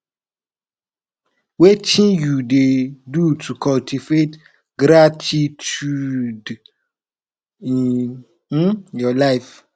wetin you dey do to cultivate gratituude in um your life